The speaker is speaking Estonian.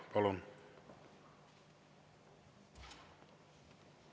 Palun!